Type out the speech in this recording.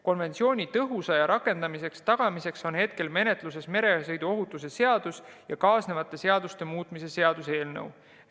Konventsiooni tõhusa rakendamise tagamiseks on menetluses meresõiduohutuse seaduse ja kaasnevate seaduste muutmise seaduse eelnõu.